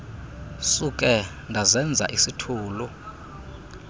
suke ndazenza isithulu